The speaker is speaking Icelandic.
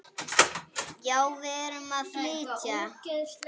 Já, við erum að flytja.